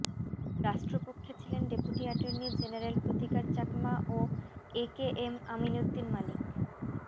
রাষ্ট্রপক্ষে ছিলেন deputy attorney general Pratikar Chakma ও A K M Aminuddin Manik